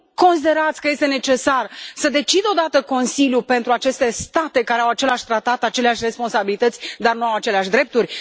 Nu considerați că este necesar să decidă o dată Consiliul pentru aceste state care au același tratat, aceleași responsabilități, dar nu au aceleași drepturi?